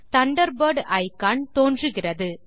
Thunderbird icon தோன்றுகிறது